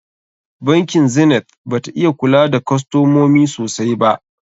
Bankin Zenith bata iya kula da kostomomi sosai ba.